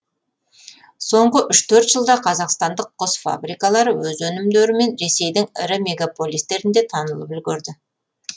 соңғы үш төрт жылда қазақстандық құс фабрикалары өз өнімдерімен ресейдің ірі мегаполистерінде танылып үлгерді